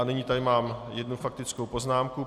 A nyní tady mám jednu faktickou poznámku.